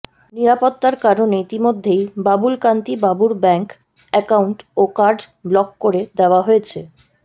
নিরাপত্তার কারণে ইতিমধ্যেই বাবুলকান্তি বাবুর ব্যাঙ্ক অ্যাকাউন্ট ও কার্ড ব্লক করে দেওয়া হয়েছে